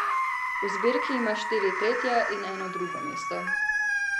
V zbirki ima štiri tretja in eno drugo mesto.